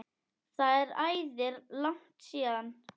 Það er æði langt síðan.